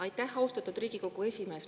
Aitäh, austatud Riigikogu esimees!